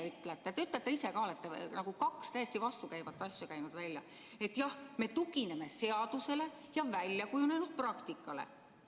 Te olete nagu kaks täiesti vastukäivat asja välja käinud: et jah, me tugineme seadusele ja väljakujunenud praktikale.